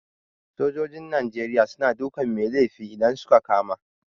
Sojojin Nigeria suna dukan mai laifi idan suka kama